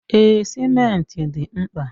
Ee, simenti dị mkpa.